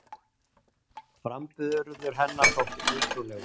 Framburður hennar þótti ótrúlegur